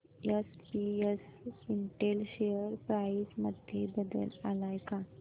SPS Intel share price मध्ये बदल आलाय का